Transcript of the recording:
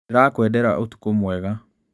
Ndĩrakwendera ũtukũ mwega